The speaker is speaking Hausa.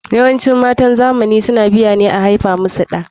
YAwancin matan zamani suna biya ne a aifa musu ɗa.